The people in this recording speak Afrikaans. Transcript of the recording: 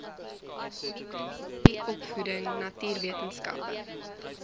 kommunikasie opvoeding natuurwetenskappe